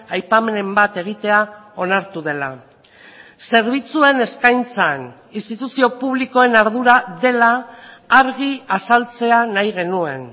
aipamenen bat egitea onartu dela zerbitzuen eskaintzan instituzio publikoen ardura dela argi azaltzea nahi genuen